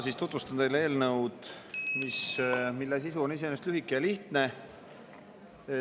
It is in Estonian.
Ma tutvustan teile eelnõu, mille sisu on iseenesest lühike ja lihtne.